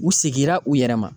U segira u yɛrɛ ma.